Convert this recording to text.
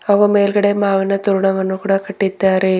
ಹಾಗೂ ಮೇಲ್ಗಡೆ ಮಾವಿನ ತೋರಣವನ್ನು ಕೂಡ ಕಟ್ಟಿದ್ದಾರೆ.